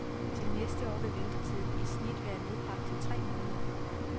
Til næste år vil ventetiden i snit være nedbragt til tre måneder.